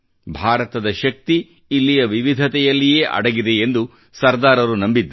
ಭಾರತದ ಶಕ್ತಿ ಇಲ್ಲಿಯ ವಿವಿಧತೆಯಲ್ಲಿಯೇ ಅಡಗಿದೆ ಎಂದು ಸರದಾರರು ನಂಬಿದ್ದರು